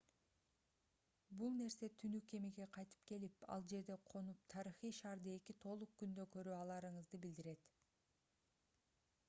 бул нерсе түнү кемеге кайтып келип ал жерде конуп тарыхый шаарды эки толук күндө көрө аларыңызды билдирет